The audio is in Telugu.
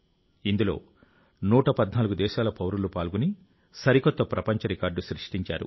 ఇందులో 114 దేశాల పౌరులు పాల్గొని సరికొత్త ప్రపంచ రికార్డు సృష్టించారు